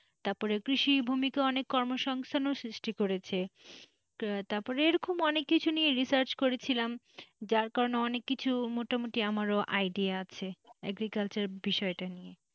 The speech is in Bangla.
তারপরে কৃষির ভূমিকা অনেক কর্মসংস্থানে সৃষ্টি করেছে তারপর এরকম অনেক কিছুই নিয়ে research করেছিলাম। যার কারণে অনেক কিছু মোটামুটি আমারও idea আছে agriculture বিষয়টা নিয়ে।